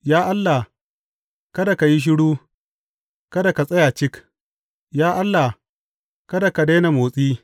Ya Allah, kada ka yi shiru; kada ka tsaya cik, ya Allah, kada ka daina motsi.